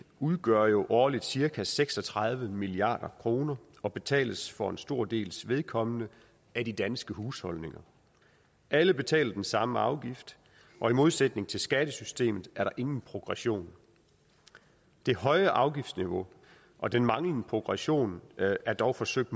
udgør jo årligt cirka seks og tredive milliard kroner og betales for en stor dels vedkommende af de danske husholdninger alle betaler den samme afgift og i modsætning til skattesystemet er der ingen progression det høje afgiftsniveau og den manglende progression er dog forsøgt